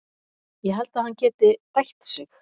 Ég held að hann geti bætt sig.